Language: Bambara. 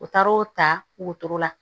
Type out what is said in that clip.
U taar'o ta wotoro la